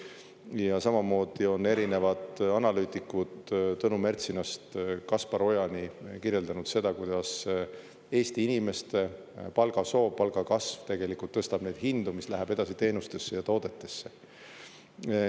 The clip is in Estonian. Ja samamoodi on erinevad analüütikud, Tõnu Mertsinast Kaspar Ojani, kirjeldanud seda, kuidas Eesti inimeste palgasoov, palgakasv tegelikult tõstab neid hindu, mis läheb edasi teenustesse ja toodetesse.